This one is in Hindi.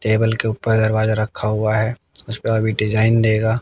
टेबल के ऊपर दरवाजा रखा हुआ है उसपे अभी डिजाइन देगा।